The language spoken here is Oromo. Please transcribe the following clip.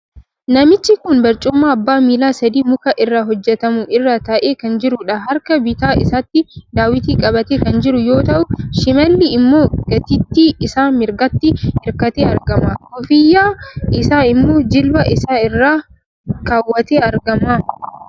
Namichi kun barcuma abbaa miila sadii muka irraa hojjetamu irra taa'ee kan jirudha. Harka bitaa isaatti daawwitii qabatee kan jiruu yoo ta'u, shimaalli immoo gatiittii isaa mirgaatti hirkatee argama. Koofiyyaa isaa immoo jilba isaa irra keewwatee argama.